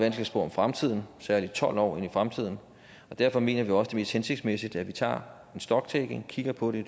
at spå om fremtiden særlig tolv år ind i fremtiden derfor mener vi også mest hensigtsmæssigt at vi tager en stocktaking kigger på det i